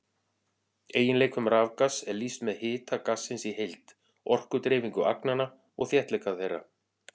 Eiginleikum rafgass er lýst með hita gassins í heild, orkudreifingu agnanna og þéttleika þeirra.